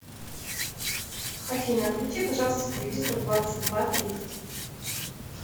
афина отключи пожалуйста телевизор в двадцать два тридцать